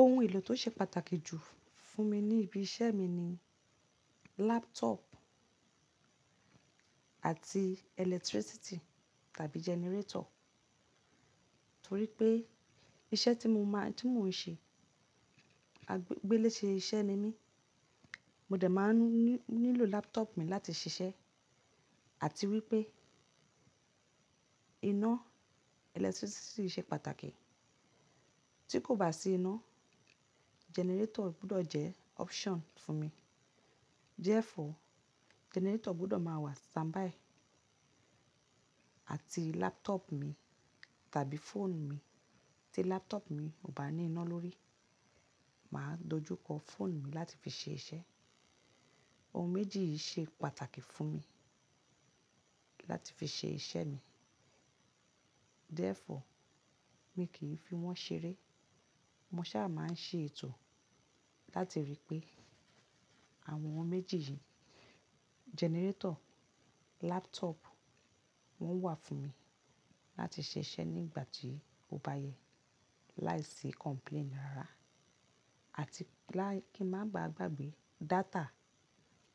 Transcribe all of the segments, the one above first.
Ohun èlò tó ṣe pàtàkì jù fún mi ní ibi iṣẹ́ mi ni laptop àti electricity tàbí generator. Torí pé iṣẹ́ tí mọ ń ṣe, gbélé ṣe iṣẹ́ ni mí, mo dẹ̀ máa ń nílò laptop mi láti ṣiṣẹ́ àti wípé iná electricity ṣe pàtàkì. Tí kò bá sí iná, generator gbọ́dọ̀ jẹ́ option fún mi. Therefore, generator gbọ́dọ̀ máa wà standby àti laptop mi tàbí fóònù mi. Tí laptop mi kò bá ní iná lórí, mà á dojú kọ fóònù mi láti fi ṣe iṣẹ́. Ohun méjì yìí ṣe pàtàkì fún mi láti fi ṣe iṣẹ́ mi. Therefore, mi kìí fi wọ́n ṣeré. Mo ṣà máa ń ṣe ètò láti rí pé àwọn ohun méjì yìí; generator, laptop, wọ́n wà fún mi láti ṣe iṣẹ́ nígbà tí ó bá yẹ láì sí complain rárá àti kí n má baà gbàgbé data,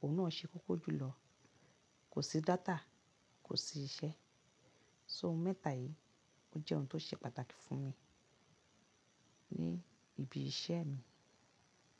òun náà ṣe kókó jùlọ. Kò sí data, kò sí iṣẹ́. So ohun mẹ́ta yìí, ó jẹ́ ohun tó ṣe pàtàkì fún mi ní ibi iṣẹ́ mi.